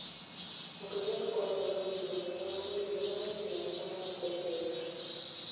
Andũ arĩa makoragwo na ũgima mwega wa mwĩrĩ nĩ magacĩraga na magakũra wega.